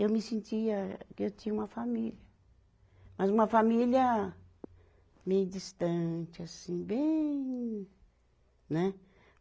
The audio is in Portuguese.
Eu me sentia que eu tinha uma família, mas uma família meio distante, assim, bem né?